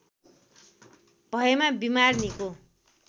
भएमा बिमार निको